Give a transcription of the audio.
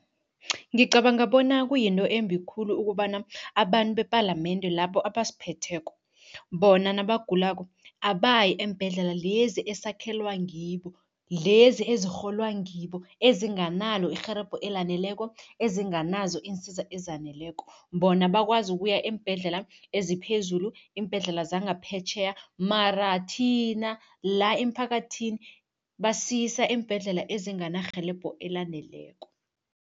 Ngicabanga bona kuyinto embi khulu ukobana abantu bepalamende labo abasiphetheko, bona nabagulako abayi eembhedlela lezi esakhelwa ngibo, lezi ezirholwa ngibo, ezinganalo irhelebho elaneleko, ezinganazo iinsiza ezaneleko. Bona bakwazi ukuya eembhedlela eziphezulu, iimbhedlela zangaphetjheya mara thina la emphakathini basiyisa eembhedlela ezinganarhelebho elaneleko.